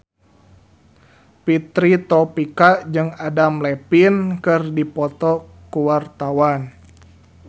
Fitri Tropika jeung Adam Levine keur dipoto ku wartawan